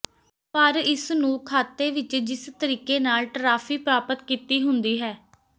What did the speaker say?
ਪਰ ਇਸ ਨੂੰ ਖਾਤੇ ਵਿੱਚ ਜਿਸ ਤਰੀਕੇ ਨਾਲ ਟਰਾਫੀ ਪ੍ਰਾਪਤ ਕੀਤੀ ਹੁੰਦੀ ਹੈ